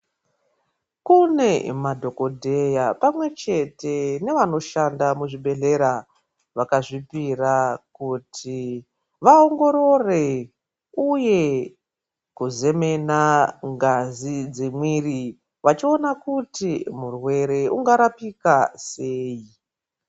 Kune dhokodheya pamwechete nevanoshanda muzvibhedhlera vakazvipira kuti vaongorore uye kuzemena ngazi dzemwiri vachiona kuti murwere ungarapika sei.